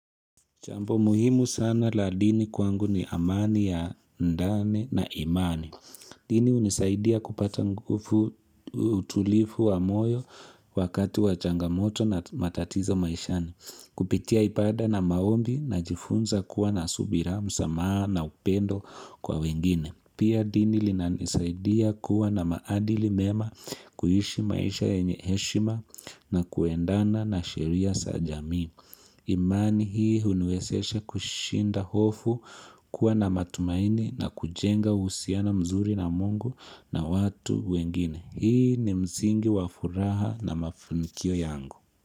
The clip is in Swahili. Jambo muhimu sana la dini kwangu ni amani ya ndani na imani. Dini unisaidia kupata nguvu utulifu wa moyo wakati wa changamoto na matatizo maishani. Kupitia ibada na maombi najifunza kuwa na subira msamaa na upendo kwa wengine. Pia dini inanisaidia kuwa na maadili mema kuishi maisha yenye heshima na kuendana na sheria za jamii imani hii uniwezesha kushinda hofu kuwa na matumaini na kujenga uhusiano mzuri na Mungu na watu wengine. Hii ni msingi wafuraha na mafanikio yangu.